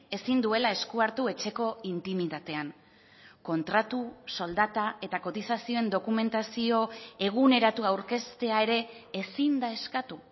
ezin duela eskua hartu etxeko intimitatean kontratu soldata eta kotizazioen dokumentazio eguneratua aurkeztea ere ezin da eskatu